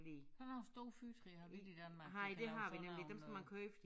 Sådan nogle store fyrretræer har vi ikke i Danmark men sådan nogle øh